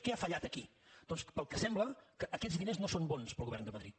què ha fallat aquí doncs pel que sembla que aquests diners no són bons per al govern de madrid